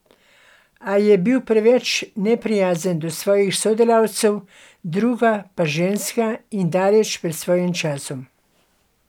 A je bil prvi preveč neprijazen do svojih sodelavcev, druga pa ženska in daleč pred svojim časom.